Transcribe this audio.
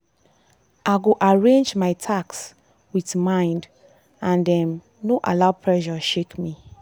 i go arrange my task with mind and um no allow pressure shake me.